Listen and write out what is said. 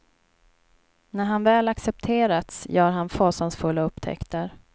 När han väl accepterats gör han fasansfulla upptäckter.